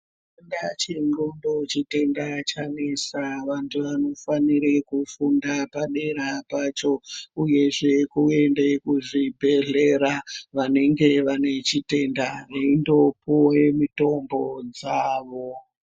Tenda chenglondo chitenda chanesa vandu vanofanirwa kufunda padera pacho uyezve kuenda kuzvibhehlera vanenge vachitenda veindopuwa mutombo dzavo